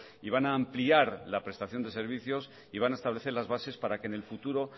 y van a ampliar la prestación de servicios y van a establecer las bases para que en el futuro